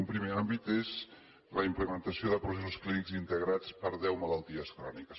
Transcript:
un primer àmbit és la implementació de processos clínics integrats per deu malalties cròniques